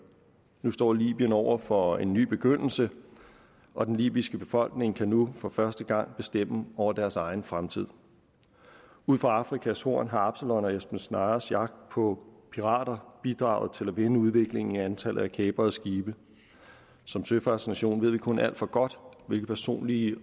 nu står libyen over for en ny begyndelse og den libyske befolkning kan nu for første gang bestemme over deres egen fremtid ud for afrikas horn har absalons og esbern snares jagt på pirater bidraget til at vende udviklingen i antallet af kaprede skibe som søfartsnation ved vi kun alt for godt hvilke personlige